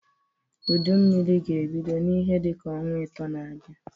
Udu Mmiri ga-ebido n'ihe dị ka ọnwa ịtọọ na-abịa.